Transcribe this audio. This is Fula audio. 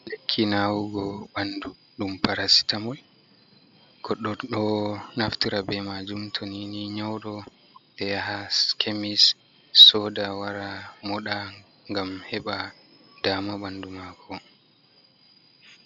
Lekki nawugo ɓandu, ɗum parasitamol goɗɗo ɗo naftira be majum, toni ni nyaudo. Ɓeyaha kemis soda wara moɗa, gam heɓa dama ɓandu mako.